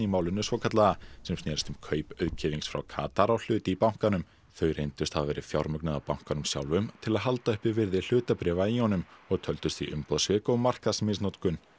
málinu svokallaða sem snerist um kaup auðkýfings frá Katar á hlut í bankanum þau reyndust hafa verið fjármögnuð af bankanum sjálfum til að halda uppi virði hlutabréfa í honum og töldust því umboðssvik og markaðsmisnotkun